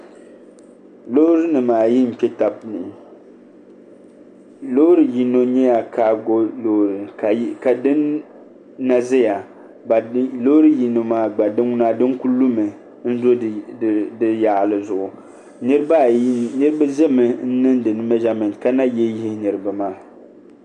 Loori nim ayi n kpɛ tabi ni loori yino nyɛla kaago loori ka din na ʒiya ka loori yino maa din ŋuna din ku lumi ka lu di yaɣali zuɣu niraba ʒimi n niŋdi mɛnʒamɛnt ka na yihi yihi niraba maa